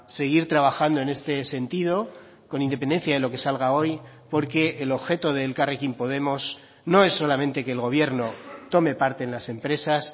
seguir trabajando en este sentido con independencia de lo que salga hoy porque el objeto de elkarrekin podemos no es solamente que el gobierno tome parte en las empresas